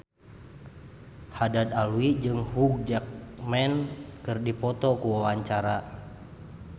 Haddad Alwi jeung Hugh Jackman keur dipoto ku wartawan